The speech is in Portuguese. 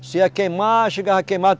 Você ia queimar, chegava a queimar.